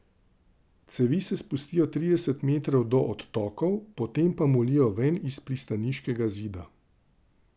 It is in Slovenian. Cevi se spustijo trideset metrov do odtokov, potem pa molijo ven iz pristaniškega zida.